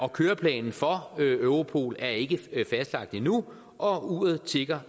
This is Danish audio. køreplanen for europol er ikke fastlagt endnu og uret tikker